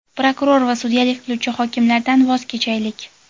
prokuror va sudyalik qiluvchi hokimlardan voz kechaylik.